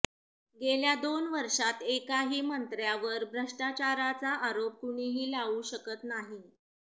गेल्या दोन वर्षात एकाही मंत्र्यावर भ्रष्टाचाराचा आरोप कुणीही लावू शकत नाही